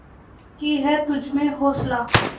बाक़ी है तुझमें हौसला